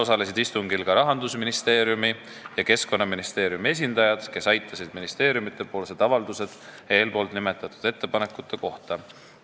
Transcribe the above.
Lisaks osalesid istungil Rahandusministeeriumi ja Keskkonnaministeeriumi esindajad, kes esitasid ministeeriumide avaldused eelnimetatud ettepanekute kohta.